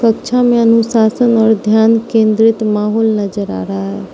कक्षा में अनुशासन और ध्यान केंद्रित माहौल नजर आ रहा है।